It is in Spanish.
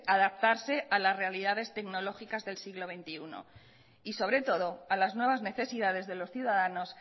adaptarse a las realidades tecnológicas del siglo veintiuno y sobre todo a las nuevas necesidades de los ciudadanos